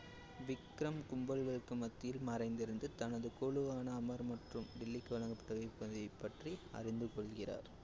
விக்ரம் கும்பல்களுக்கு மத்தியில் மறைந்திருந்து தனது குழுவான அமர் மற்றும் டில்லிக்கு வழங்கப்பட்டிருப்பதை பற்றி அறிந்து கொள்கிறார்